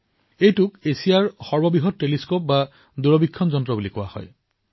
ই এছিয়াৰ সৰ্ববৃহৎ দুৰবীক্ষণ হিচাপে জনাজাত